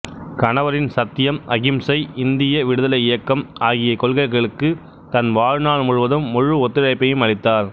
கணவரின் சத்தியம் அகிம்சை இந்திய விடுதலை இயக்கம் ஆகிய கொள்கைகளுக்கு தன் வாழ்நாள் முழுவதும் முழு ஒத்துழைப்பையும் அளித்தார்